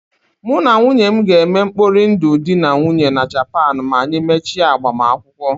Mụ na nwunye m ga-eme mkpori ndụ dị na nwunye na Japan ma anyị mechie agbamakwụkwọ.